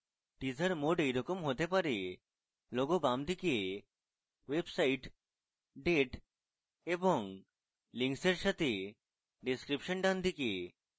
teaser mode এরকম হতে have: logo বামদিকে website date এবং links এর সাথে description ডানদিকে